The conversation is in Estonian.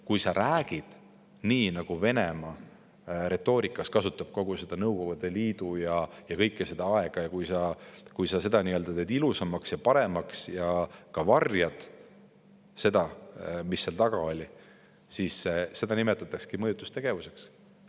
Kui sa räägid nii, nagu Venemaa oma retoorikas kasutab kogu Nõukogude Liidu aega ja kõike seda, kui sa seda teed midagi ilusamaks ja paremaks ning varjad seda, mis seal taga oli, siis seda nimetataksegi mõjutustegevuseks.